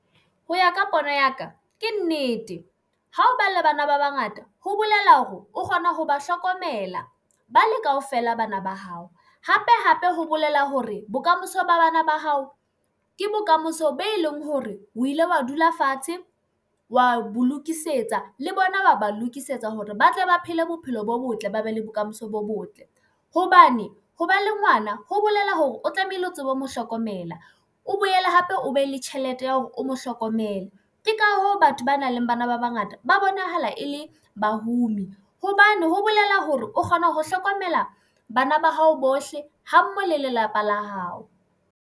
Ho ya ka pono ya ka, ke nnete ha o ba le bana ba bangata ho bolela hore o kgona ho ba hlokomela bale kaofela bana ba hae hape hape ho bolela hore bokamoso ba bana ba hao ke bokamoso. Be leng hore o ile wa dula fatshe wa bo lokisetsa le bona, wa ba lokisetsa hore ba tle ba phele bophelo bo botle, ba be le bokamoso bo botle. Hobane ho ba le ngwana ho bolela hore o tlamehile o tsebe ho mo hlokomela, o boele hape o be le tjhelete ya hore o mo hlokomele. Ke ka hoo batho ba nang le bana ba bangata ba bonahala e le bahumi hobane ho bolela hore o kgona ho hlokomela bana ba hao bohle, ha mmoho le lelapa la hao.